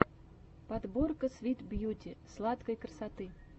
подборка свит бьюти сладкой красоты